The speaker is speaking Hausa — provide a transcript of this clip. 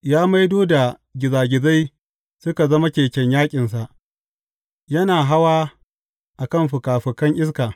Ya maido da gizagizai suka zama keken yaƙinsa yana hawa a kan fikafikan iska.